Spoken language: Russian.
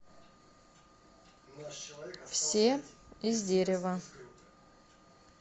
все из дерева